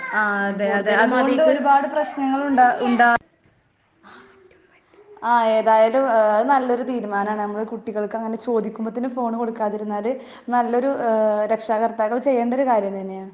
ആഹ് അതെ ആഹ് ഏതായാലും ഏഹ് അത് നല്ലൊരു തീരുമാനാ. നമ്മള് കുട്ടികൾക്കങ്ങനെ ചോദിക്കുമ്പോ തന്നെ ഫോണ് കൊടുക്കാതിരുന്നാൾ നല്ലൊരു ഏഹ് രക്ഷാകർത്താക്കൾ ചെയ്യേണ്ടൊരു കാര്യം തന്നെയാ.